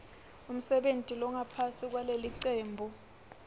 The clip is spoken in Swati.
umsebenti longaphansi kwalelicembu